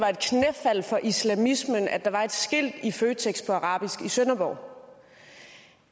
altså islamismen at der var et skilt i føtex på arabisk i sønderborg